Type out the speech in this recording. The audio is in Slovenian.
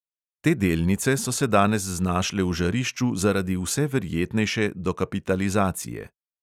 Te delnice so se danes znašle v žarišču zaradi vse verjetnejše dokapitalizacije.